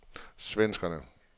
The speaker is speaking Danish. svenskerne